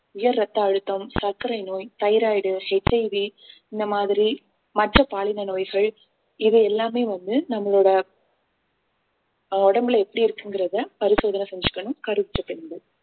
உயர் ரத்த அழுத்தம் சர்க்கரை நோய் தைராய்டு HIV இந்த மாதிரி மற்ற பாலின நோய்கள் இவையெல்லாமே வந்து நம்மளோட ஆஹ் உடம்புல எப்படி இருக்குங்கிறதை பரிசோதனை செஞ்சுக்கணும் கருவுற்ற பெண்கள்